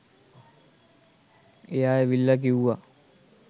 එයා ඇවිල්ලා කිව්වා